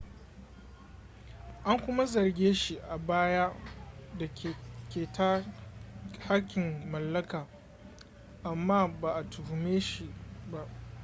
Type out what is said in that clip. an kuma zarge shi a baya da keta haƙƙin mallaka amma ba a tuhume shi ba